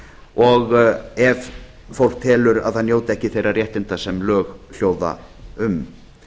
og ef fólk telur að það njóti ekki þeirra réttinda sem lög hljóða um